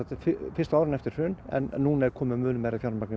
fyrstu árin eftir hrun en núna er komið mun meira fjármagn